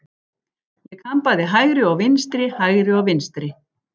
Ég kann bæði hægri og vinstri, hægri og vinstri.